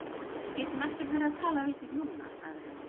Við getum ekkert verið að tala við þig núna, sagði hann.